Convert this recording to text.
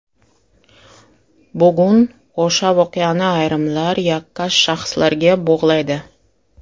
Bugun o‘sha voqeani ayrimlar yakkash shaxslarga bog‘laydi.